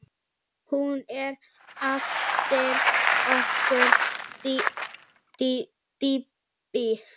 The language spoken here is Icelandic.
Hún er eftir okkur Dídí.